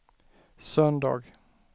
söndag